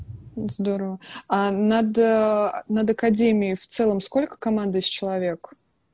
здорово а над над академией в целом сколько командующих человек